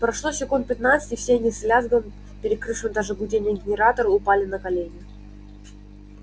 прошло секунд пятнадцать и все они с лязгом перекрывшим даже гудение генератора упали на колени